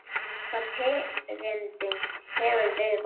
Hvaða tengingu hefurðu við Val?